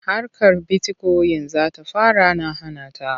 Harkar bitikoyin za ta fara na hana ta.